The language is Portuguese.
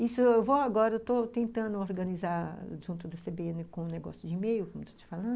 Isso eu vou agora, eu estou tentando organizar junto da cê bê ene com um negócio de e-mail, como eu estou te falando.